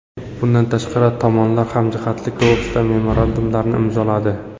Bundan tashqari, tomonlar hamjihatlik to‘g‘risida memorandumlarni imzoladi.